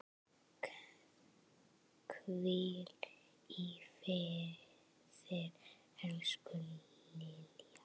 Hvíl í friði, elsku Lilla.